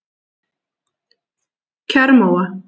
Kjarrmóa